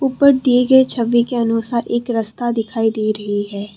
पर दिए गए छवि के अनुसार एक रस्ता दिखाई दे रही है।